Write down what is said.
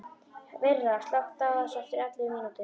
Myrra, slökktu á þessu eftir ellefu mínútur.